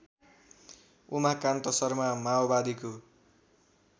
उमाकान्त शर्मा माओवादीको